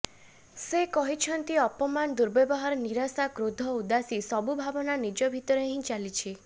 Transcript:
ସେ କହିଛନ୍ତି ଅପମାନ ଦୁବର୍ବ୍ୟବହାର ନିରାଶା କ୍ରୋଧ ଉଦାସୀ ସବୁ ଭାବନା ନିଜ ଭିତରେ ହିଁ ଚାଲିଚି